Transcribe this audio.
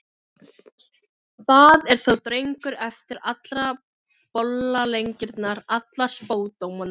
Það er þá drengur eftir allar bollaleggingarnar, alla spádómana!